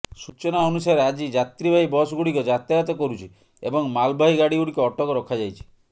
ସୂଚନା ଅନୁସାରେ ଆଜି ଯାତ୍ରୀବାହୀ ବସ୍ଗୁଡ଼ିକ ଯାତାୟାତ କରୁଛି ଏବଂ ମାଲବାହୀ ଗାଡ଼ିଗୁଡ଼ିକ ଅଟକ ରଖାଯାଇଛି